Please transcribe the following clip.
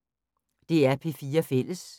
DR P4 Fælles